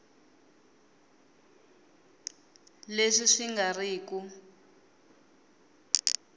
leswi swi nga ri ku